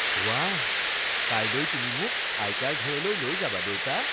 বাহ! কাইলৈ তুমি মোক আইতাৰ ঘৰলৈ লৈ যাবা, দেউতা?